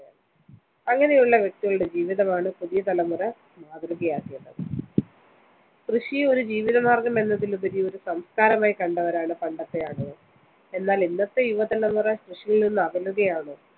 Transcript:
അങ്ങനെയുള്ള വ്യക്തികളുടെ ജീവിതമാണ് പുതിയ തലമുറ മാതൃകയാക്കേണ്ടത്. കൃഷിയെ ഒരു ജീവിതമാര്‍ഗം എന്നതിലുപരി ഒരു സംസ്‌കാരമായി കണ്ടവരാണ് പണ്ടത്തെ ആളുകള്‍. എന്നാല്‍ ഇന്നത്തെ യുവതലമുറ കൃഷിയില്‍നിന്ന് അകലുകയാണ്.